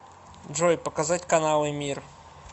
джой показать каналы мир